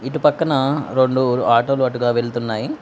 ఇటు పక్కన రెండు ఆటోలు అటుగా వెళుతున్నాయి.